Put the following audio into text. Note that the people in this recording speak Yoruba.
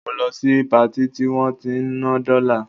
Mo lọ sí Patí tí wọ́n ti ń ná dọ́là